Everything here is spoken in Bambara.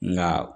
Nka